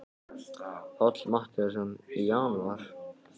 Páll Matthíasson: Í janúar?